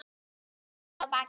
Ferðin er að baki.